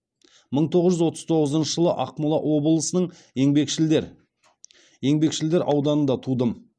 мың тоғыз жүз отыз тоғызыншы жылы ақмола облысының еңбекшілдер еңбекшілдер ауданында тудым